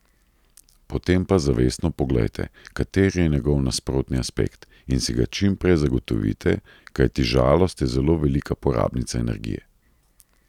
Potem pa zavestno poglejte, kateri je njegov nasprotni aspekt, in si ga čim prej zagotovite, kajti žalost je zelo velika porabnica energije.